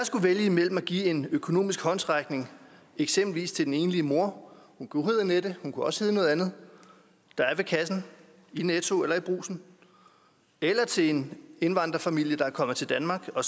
skulle vælge imellem at give en økonomisk håndsrækning eksempelvis til den enlige mor hun kunne hedde annette hun kunne også hedde noget andet der er ved kassen i netto eller i brugsen eller til en indvandrerfamilie der er kommet til danmark og